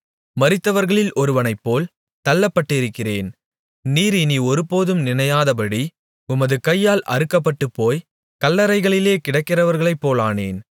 மரித்தவர்களில் ஒருவனைப்போல் தள்ளப்பட்டிருக்கிறேன் நீர் இனி ஒருபோதும் நினையாதபடி உமது கையால் அறுக்கப்பட்டுபோய்க் கல்லறைகளிலே கிடக்கிறவர்களைப்போலானேன்